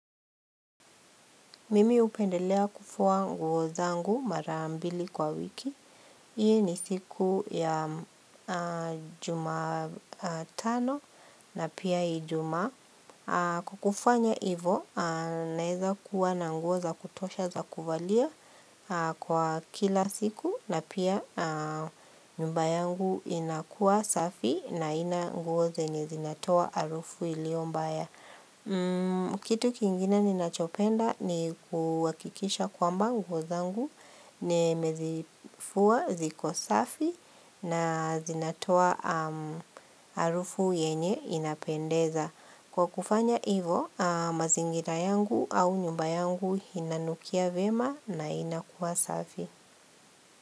Mimi hupendelea kufua nguo zangu mara mbili kwa wiki. Hii ni siku ya jumatano na pia ijumaa. Kwa kufanya hivo, naweza kuwa na nguo za kutosha za kuvalia kwa kila siku na pia nyumba yangu inakuwa safi haina nguo zenye zinatoa harufu iliyo mbaya. Kitu kingine ninachopenda ni kuhakikisha kwamba nguo zangu nimezifua ziko safi na zinatoa harufu yenye inapendeza. Kwa kufanya hivo mazingira yangu au nyumba yangu inanukia vyema na inakuwa safi.